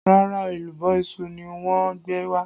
Rárá, èlùbọ́ iṣu ni wọ́n gbé wá